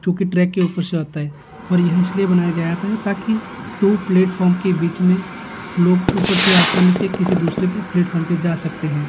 चूंकि ट्रैक के ऊपर से होता है और यह इसलिए बनाया जाता है ताकि दो प्लेटफार्म के बीच में लोग ऊपर से आसानी से किसी दूसरे प्लेटफार्म पर जा सकते हैं।